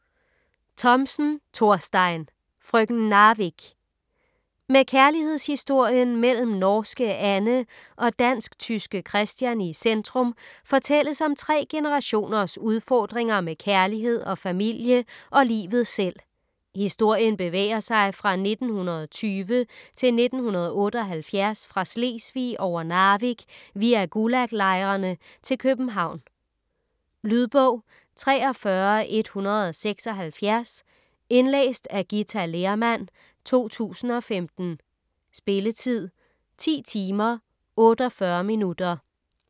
Thomsen, Thorstein: Frøken Narvik Med kærlighedshistorien mellem norske Anne og dansk-tyske Christian i centrum fortælles om tre generationers udfordringer med kærlighed og familie og livet selv. Historien bevæger sig fra 1920 til 1978 fra Slesvig over Narvik via Gulag-lejrene til København. Lydbog 43176 Indlæst af Githa Lehrmann, 2015. Spilletid: 10 timer, 48 minutter.